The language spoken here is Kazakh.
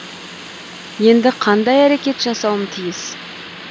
енді қандай әрекет жасауым тиіс